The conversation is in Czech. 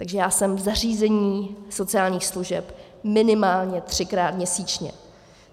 Takže já jsem v zařízení sociálních služeb minimálně třikrát měsíčně.